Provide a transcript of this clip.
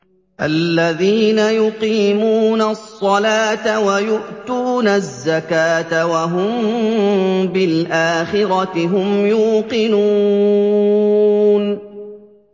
الَّذِينَ يُقِيمُونَ الصَّلَاةَ وَيُؤْتُونَ الزَّكَاةَ وَهُم بِالْآخِرَةِ هُمْ يُوقِنُونَ